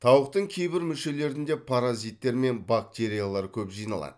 тауықтың кейбір мүшелерінде паразиттер мен бактериялар көп жиналады